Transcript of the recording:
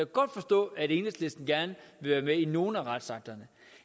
godt forstå at enhedslisten gerne vil være med i nogle af retsakterne